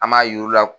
An m'a yir'u la